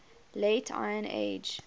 late iron age